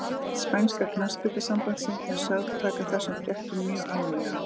Siðanefnd spænska knattspyrnusambandsins er sögð taka þessum fréttum mjög alvarlega.